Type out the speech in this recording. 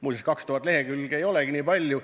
Muuseas, 2000 lehekülge ei olegi nii palju.